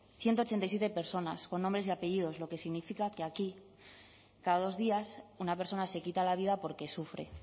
ciento ochenta y siete personas con nombres y apellidos lo que significa que aquí cada dos días una persona se quita la vida porque sufre